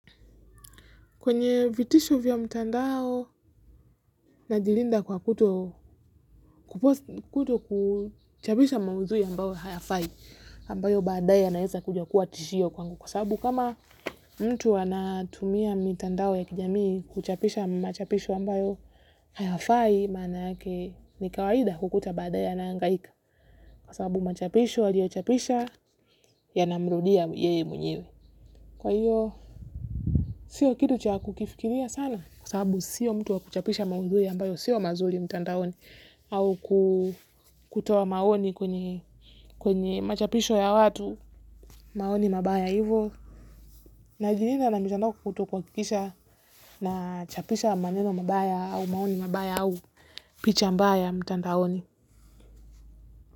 Kwenye vitisho vya mtandao na jilinda kwa kuto kuchapisha maudhui ambayo hayafai, ambayo baadae yanaeza kuja kuwa tishio kwangu kwa sababu kama mtu hana tumia mitandao ya kijamii kuchapisha machapisho ambayo hayafai, maana yake ni kawaida kukuta baadae ana hangaika. Kwa sababu machapisho aliyochapisha yana mrudia yeye mwenyewe kwa hio sio kitu cha kukifikiria sana kwa sababu sio mtu wa kuchapisha maudhui ambayo sio mazuri mtandaoni au kutoa maoni kwenye machapisho ya watu maoni mabaya hivyo. Najilinda na mitandao kuto kuhakikisha na chapisha maneno mabaya au maoni mabaya au picha mbaya mtandaoni.